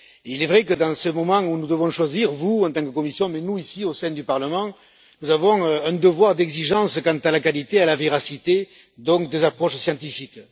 Il est vrai que, dans ce moment où nous devons choisir, vous, en tant que Commission mais aussi nous, ici, au sein du Parlement, avons un devoir d'exigence quant à la qualité et à la véracité des approches scientifiques.